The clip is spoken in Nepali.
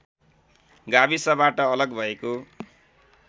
गाविसबाट अलग भएको